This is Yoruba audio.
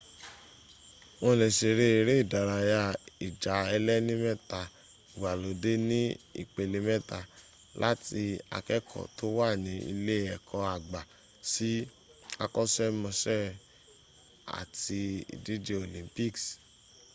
wọ́n lè ṣeré eré ìdárayá ìjà ẹlẹ́ni mẹ́ta ìgbàlódé ní ìpele méta láti akẹ́kọ̀ọ́ tó wà ní ilé ẹ̀kọ́ àgbà sí àkọ́ṣkmọṣẹ́ àti ìdíje olympics